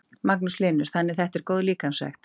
Magnús Hlynur: Þannig þetta er góð líkamsrækt?